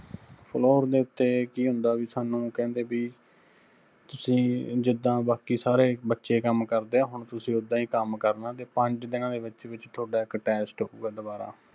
Floor ਦੇ ਉੱਤੇ ਕੀ ਹੁੰਦਾ ਵੀ ਸਾਨੂੰ ਕਹਿੰਦੇ ਬੀ, ਤੁਸੀਂ ਜਿੱਦਾਂ ਬਾਕੀ ਸਾਰੇ ਬੱਚੇ ਕੰਮ ਕਰਦੇ ਆ ਹੁਣ ਤੁਸੀਂ ਓੱਦਾਂ ਹੀ ਕੰਮ ਕਰਣਾ ਤੇ ਪੰਜ ਦਿਨਾਂ ਦੇ ਵਿੱਚ ਵਿੱਚ ਤੁਹਾਡਾ ਇੱਕ test ਹੋਊਗਾ ਦੁਬਾਰਾ